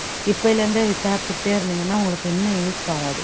இப்பயில இருந்தே விசாரிச்சுக்குட்டே இருந்திங்கன்னா உங்களுக்கு இன்னும் use ஆகும் அது